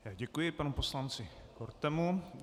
Děkuji panu poslanci Kortemu.